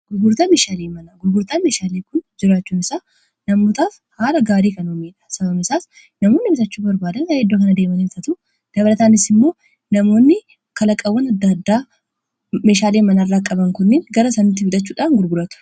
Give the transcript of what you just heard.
Gurgurtaan meeshaalee kun jiraachuu faayidaa madaalamuu hin dandeenye fi bakka bu’iinsa hin qabne qaba. Jireenya guyyaa guyyaa keessatti ta’ee, karoora yeroo dheeraa milkeessuu keessatti gahee olaanaa taphata. Faayidaan isaa kallattii tokko qofaan osoo hin taane, karaalee garaa garaatiin ibsamuu danda'a.